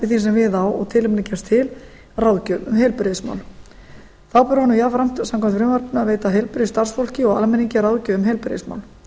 var sem við á og tilefni gefst til ráðgjöf um heilbrigðismál þá ber honum jafnframt samkvæmt frumvarpinu að veita heilbrigðisstarfsfólki og almenningi ráðgjöf um heilbrigðismál